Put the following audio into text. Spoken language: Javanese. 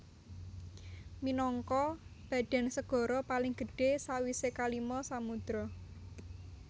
Minangka badan segara paling gedhé sawisé kalima samudra